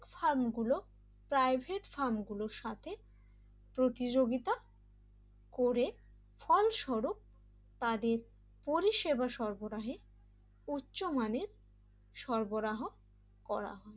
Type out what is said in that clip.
ফর্মগুলো private ফার্মগুলোর সাথে প্রতি রবিবার করে ফলস্বরূপ তাদের পরিষেবা সর্ব রাহে উচ্চ মানে করা সরবরাহ করা হয় l